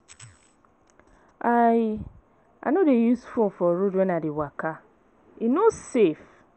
I I no dey use phone for road when I dey waka, e no safe.